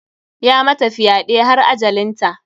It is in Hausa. Ya mata fyɗe har ajalinta.